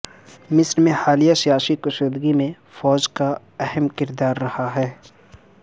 مصر میں حالیہ سیاسی کشیدگی میں فوج کا اہم کردار رہا ہے